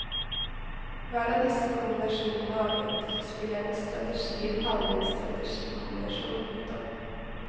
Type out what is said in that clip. Hver av disse kombinasjonene av enkeltspillernes strategier kaller vi en strategikombinasjon. punktum